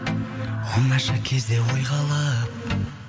оңаша кезде ойға алып